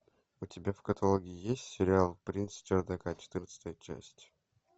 у тебя в каталоге есть сериал принц с чердака четырнадцатая часть